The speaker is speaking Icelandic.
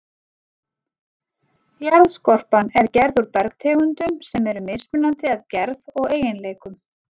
Jarðskorpan er gerð úr bergtegundum sem eru mismunandi að gerð og eiginleikum.